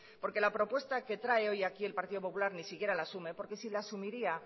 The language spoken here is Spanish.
porque la propuesta que trae hoy aquí el partido popular ni siquiera la asume porque si la asumiría